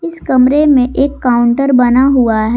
इस कमरे में एक काउंटर बना हुआ है।